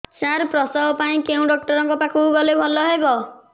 ସାର ପ୍ରସବ ପାଇଁ କେଉଁ ଡକ୍ଟର ଙ୍କ ପାଖକୁ ଗଲେ ଭଲ ହେବ